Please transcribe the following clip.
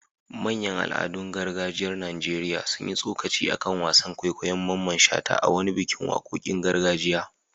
Manyan al'adun gargajiyar Najeriya sun yi tsokaci a kan wasan kwaikwayon Mamman Shata a wani bikin wakokin gargajiya.